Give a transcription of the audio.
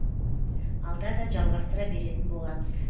алда да жалғастыра беретін боламыз